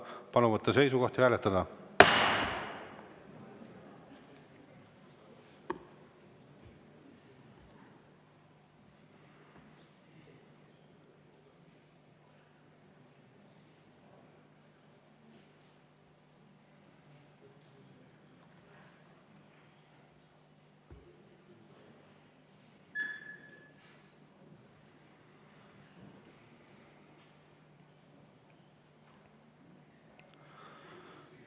Palun võtta seisukoht ja hääletada!